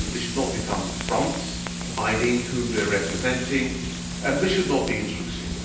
They should not become fronts, hiding whom they are representing, and they should not be intrusive.